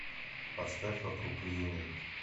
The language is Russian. поставь вокруг июня